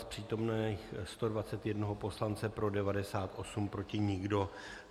Z přítomných 121 poslance pro 98, proti nikdo.